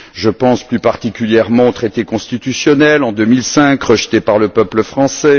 Je pense plus particulièrement au traité constitutionnel, en 2005, rejeté par le peuple français